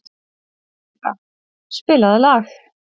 Lýra, spilaðu lag.